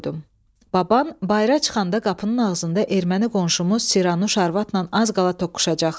Baban bayıra çıxanda qapının ağzında erməni qonşumuz Siranuş arvadnan az qala toqquşacaqdı.